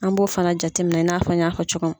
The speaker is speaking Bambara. An b'o fana jateminɛ i n'a fɔ n y'a cogo min.